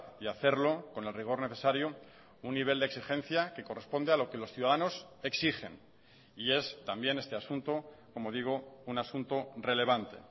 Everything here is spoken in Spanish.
y hacerlo con el rigor necesario un nivel de exigencia que corresponde a lo que los ciudadanos exigen y es también este asunto como digo un asunto relevante